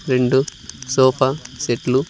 రెండు సోఫా సెట్లు --